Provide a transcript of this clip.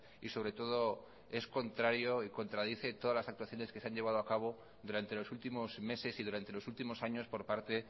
y sobretodo es contrario y contradice todas las actuaciones que se han llevado a cabo durante los últimos meses y durante los últimos años por parte